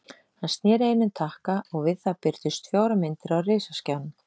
Hann sneri einum takka og við það birtust fjórar myndir á risaskjánum.